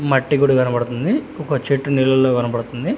మట్టి గూడ కనపడుతుంది ఒక చెట్టు నీలల్లో కనపడుతుంది.